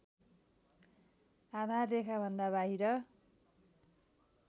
आधाररेखाभन्दा बाहिर